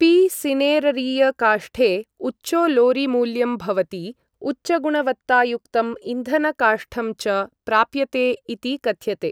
P. सिनेररिय काष्ठे उच्चोलोरीमूल्यं भवति, उच्चगुणवत्तायुक्तं ईंधनकाष्ठं च प्राप्यते इति कथ्यते ।